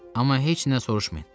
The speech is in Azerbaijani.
Amma heç nə soruşmayın.